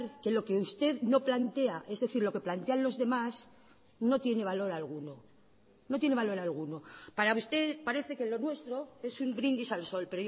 que lo que usted no plantea es decir lo que plantean los demás no tiene valor alguno no tiene valor alguno para usted parece que lo nuestro es un brindis al sol